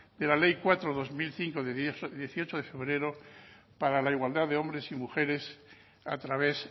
de la ley cuatro barra dos mil cinco de dieciocho de febrero para la igualdad de hombres y mujeres a través